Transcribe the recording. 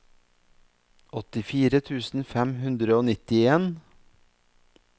åttifire tusen fem hundre og nittien